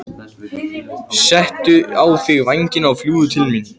Settu á þig vængina og fljúgðu til mín.